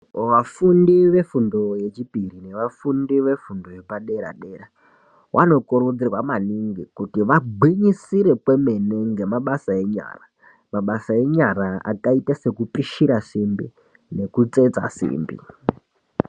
Wafundi wefundo yechipiri newafundi wefundo yepadera dera, wanokurudzirwa maningi kuti wagwinyisire kwemene ngemabasa enyara, mabasa enyara akaita sekupishira simbi nekutsetsa simbi.